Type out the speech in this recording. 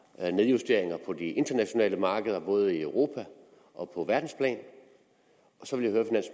er nedjusteringer på de internationale markeder både i europa og på verdensplan